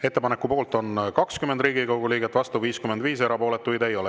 Ettepaneku poolt on 20 Riigikogu liiget, vastu 55, erapooletuid ei ole.